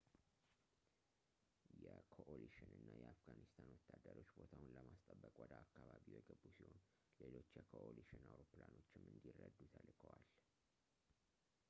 የኮኦሊሽን እና የአፍጋኒስታን ወታደሮች ቦታውን ለማስጠበቅ ወደ አካባቢው የገቡ ሲሆን ሌሎች የኮኦሊሽን አውሮፕላኖችም እንዲረዱ ተልከዋል